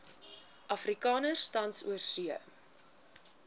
afrikaners tans oorsee